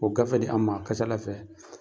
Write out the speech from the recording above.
Ko gafe di an ma, a ka ca ala fɛ